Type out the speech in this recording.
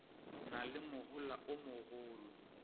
na le mohola o mogolo